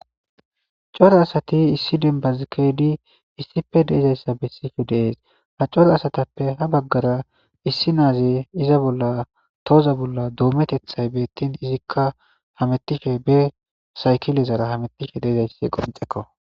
coro asati issi dembazkedi issipe deezayssa bessife dees ha cora asatappe ha baggara issi naaze iza bolla tooza bolla doometethay beettin izikka hamettife be saykilezara hamettife deezayssi qoncekko